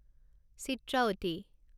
Chitravathi